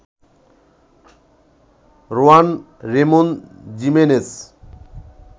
Rowan Ramon Jimenez